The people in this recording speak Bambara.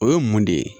O ye mun de ye